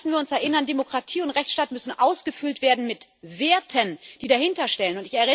Und dann müssen wir uns erinnern Demokratie und Rechtsstaat müssen ausgefüllt werden mit Werten, die dahinter stehen.